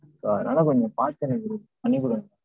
so அதனால கொஞ்சம் பாத்து எனக்கு பண்ணி கொடுங்க.